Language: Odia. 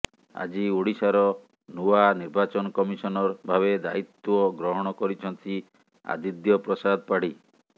ଆଜି ଓଡ଼ିଶାର ନୂଆ ନିର୍ବାଚନ କମିଶନର ଭାବେ ଦାୟୀତ୍ୱ ଗ୍ରହଣ କରିଛନ୍ତି ଆଦିଦ୍ୟ ପ୍ରସାଦ ପାଢୀ